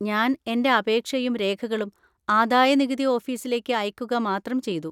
ഞാൻ എൻ്റെ അപേക്ഷയും രേഖകളും ആദായനികുതി ഓഫീസിലേക്ക് അയക്കുക മാത്രം ചെയ്തു.